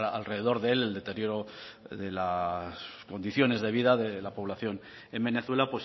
alrededor de él el deterioro de las condiciones de vida de la población en venezuela